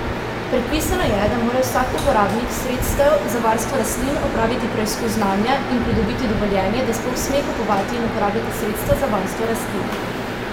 Predpisano je, da mora vsak uporabnik sredstev za varstvo rastlin opraviti preizkus znanja in pridobiti dovoljenje, da sploh sme kupovati in uporabljati sredstva za varstvo rastlin.